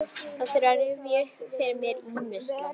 Þarf að rifja upp fyrir mér ýmislegt.